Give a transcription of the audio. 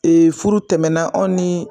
furu tɛmɛnɛna aw ni